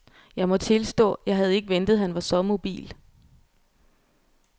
Jeg må tilstå, jeg havde ikke ventet han var så mobil.